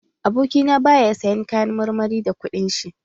Abokina ba ya sayan kayan marmari da kuɗin shi.